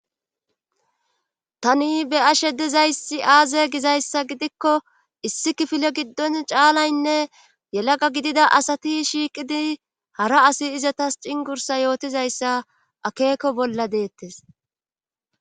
Tani be ashe dizayssi aaze gizayssa gidikko issi kifile giddon caalaynne yelaqa gidida asati shiiqidi hara asi izatas cingursa yootizayssa akeeko bolla deettes.